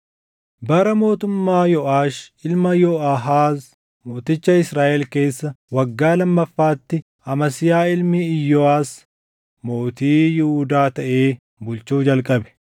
Bara mootummaa Yooʼaash ilma Yooʼaahaaz mooticha Israaʼel keessa waggaa lammaffaatti Amasiyaa ilmi Iyooʼas mootii Yihuudaa taʼee bulchuu jalqabe.